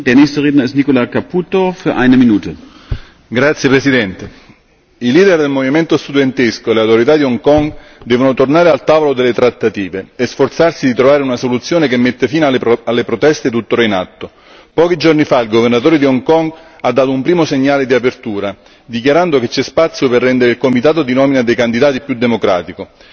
Signor Presidente, onorevoli colleghi i leader del movimento studentesco e le autorità di Hong Kong devono tornare al tavolo delle trattative e sforzarsi di trovare una soluzione che metta fine alle proteste tuttora in atto. Pochi giorni fa il governatore di Hong Kong ha dato un primo segnale di apertura, dichiarando che c'è spazio per rendere il comitato di nomina dei candidati più democratico.